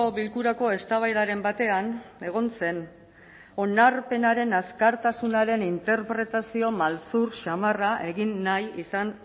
bilkurako eztabaidaren batean egon zen onarpenaren azkartasuna haren interpretazio maltzur samarra egin nahi izan